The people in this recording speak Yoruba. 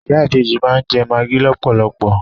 Ìyá ìbejì máa ń jẹ magi lọpọlọpọ.